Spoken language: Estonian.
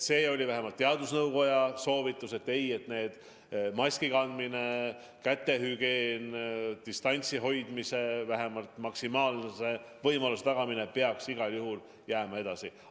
Vähemalt teadusnõukoja soovitus oli selline, et ei, maskikandmise, kätehügieeni ja distantsi hoidmise tagamise nõue peaks igal juhul kehtima jääma.